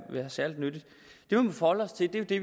særlig nyttigt det vi må forholde os til er jo det